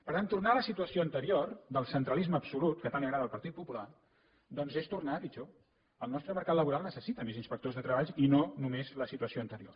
per tant tornar a la situació anterior del centralisme absolut que tant li agrada al partit popular doncs és tornar a pitjor el nostre mercat laboral necessita més inspectors de treball i no només la situació anterior